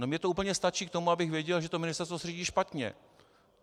No mně to úplně stačí k tomu, abych věděl, že to ministerstvo se řídí špatně.